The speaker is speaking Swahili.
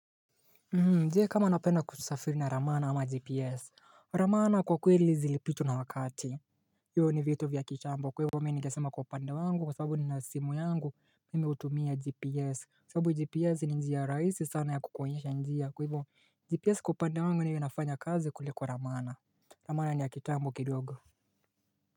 Je kama unapenda kusafiri na ramana ama gps Ramana kwa kweli zilipitwa na wakati Yo ni vitu vya kitambo kwa hivyo mi ningesema kwa upande wangu kwa sababu ni nasimu yangu mimu hutumia gps sababu gps ni njia raisi sana ya kukuonyesha njia kwa hivyo gps kwa upande wangu niwe nafanya kazi kuliko ramana Ramana ni ya kitambo kidogo.